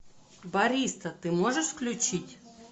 бариста ты можешь включить